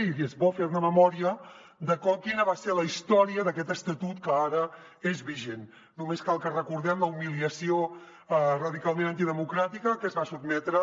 i és bo fer ne memòria de quina va ser la història d’aquest estatut que ara és vigent només cal que recordem la humiliació radicalment antidemocràtica a què es va sotmetre